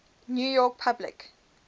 new york public